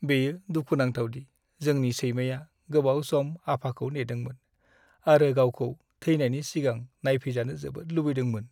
बेयो दुखु नांथाव दि जोंनि सैमाया गोबाव सम आफाखौ नेदोंमोन, आरो गावखौ थेनायनि सिगां नायफैजानो जोबोद लुबैदोंमोन।